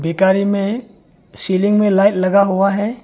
एक आरी में सीलिंग में लाइट लगा हुआ है।